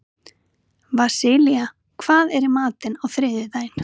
Vasilia, hvað er í matinn á þriðjudaginn?